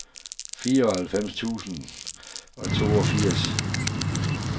fireoghalvfems tusind og toogfirs